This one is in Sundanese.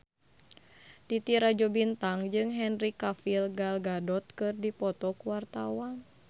Titi Rajo Bintang jeung Henry Cavill Gal Gadot keur dipoto ku wartawan